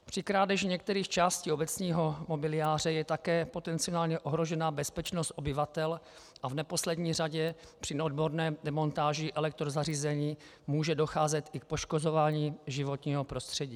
Při krádeži některých částí obecního mobiliáře je také potenciálně ohrožena bezpečnost obyvatel a v neposlední řadě při neodborné demontáži elektrozařízení může docházet i k poškozování životního prostředí.